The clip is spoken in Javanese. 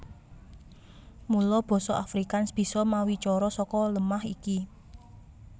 Mula basa Afrikaans bisa mawicara saka lemah iki